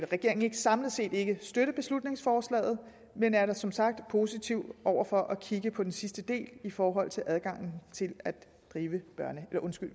regeringen samlet set ikke støtte beslutningsforslaget men er da som sagt positiv over for at kigge på den sidste del i forhold til adgangen til at drive